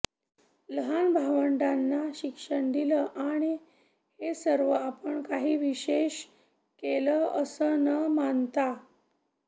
लहान भावंडांना शिक्षण दिलं आणि हे सर्व आपण काही विशेष केलं असं न मानता